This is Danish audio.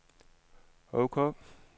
ok